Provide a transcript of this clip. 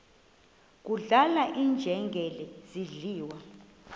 kudlala iinjengele zidliwa